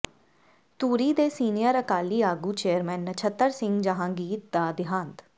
ਧੂਰੀ ਦੇ ਸੀਨੀਅਰ ਅਕਾਲੀ ਆਗੂ ਚੇਅਰਮੈਨ ਨਛੱਤਰ ਸਿੰਘ ਜਹਾਂਗੀਰ ਦਾ ਦਿਹਾਂਤ